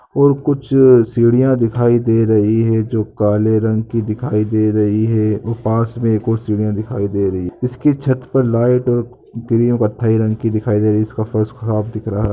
और कुछ सिडिया दिखाई दे रही है जो काले रंग की दिखाई दे रही है और पास मे एक और सिडिया दिखाई दे रही है इसकी छत पर लाइट और ग्रे कथई रंग की दिखाई दे रही इसका फर्श खराब दिख रहा --